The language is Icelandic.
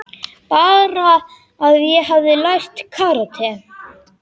Bara að ég hefði lært karate.